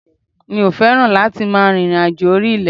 Mi ò fẹ́ràn láti máa rìnrìnàjò orí ilẹ̀.